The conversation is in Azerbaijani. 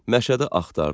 Məşədi axtardı,